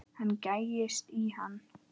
Hann gægist í hann.